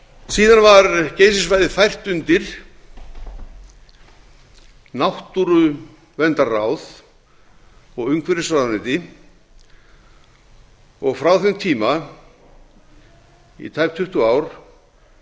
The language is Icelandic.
síðan var geysissvæðið fært undir n náttúruverndarráð og umhverfisráðuneyti og frá þeim tíma í tæp tuttugu ár